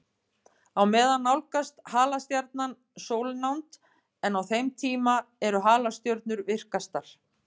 Á meðan nálgast halastjarnan sólnánd, en á þeim tíma eru halastjörnur virkastar.